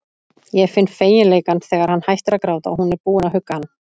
Ég finn feginleikann þegar hann hættir að gráta og hún er búin að hugga hann.